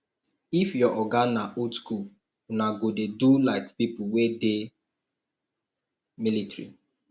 if your oga na old skool una go dey do like pipo wey dey military